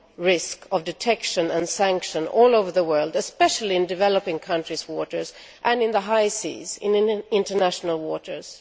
risk of detection and sanction all over the world, especially in developing countries' waters and in the high seas in international waters.